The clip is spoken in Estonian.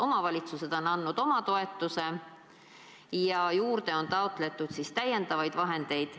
Omavalitsused on andnud oma toetuse ja juurde on taotletud lisavahendeid.